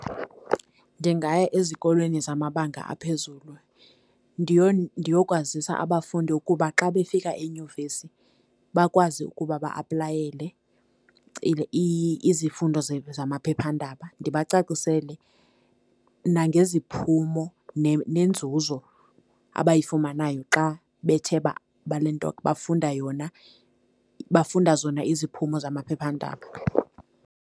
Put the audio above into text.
Ndingaya ezikolweni zamabanga aphezulu ndiyokwazisa abafundi ukuba xa befika enyunivesi bakwazi ukuba ba-aplayele izifundo zamaphephandaba, ndibacacisele nangeziphumo nenzuzo abayifumanayo xa bethe balento bafunda yona, bafunda zona iziphumo zamaphephandaba.